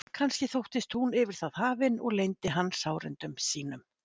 Kannski þóttist hún yfir það hafin og leyndi hann sárindum sínum.